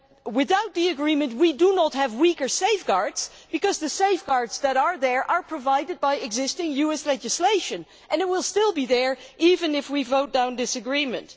Without the agreement, we do not have weaker safeguards, because the safeguards that are there are provided by existing US legislation and will still be there, even if we vote down this agreement.